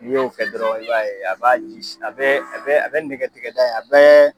N'i y'o kɛ dɔrɔn i b'a ye a b'a ji a bɛ a bɛ nɛgɛ tigɛ da in a bɛ